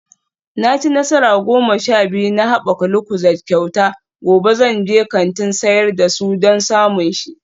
Na ci nasara goma sha biyu na haɓaka lucozade kyauta, gobe zan je kantin sayar da su don samun shi